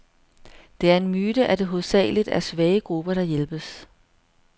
Det er en myte, at det hovedsageligt er svage grupper, der hjælpes.